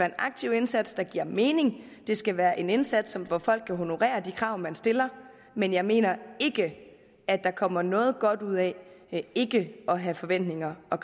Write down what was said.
en aktiv indsats der giver mening det skal være en indsats hvor folk kan honorere de krav man stiller men jeg mener ikke at der kommer noget godt ud af ikke at have forventninger og